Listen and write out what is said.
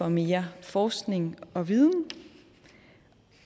mere forskning og viden